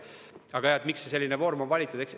Aga miks selline vorm on valitud?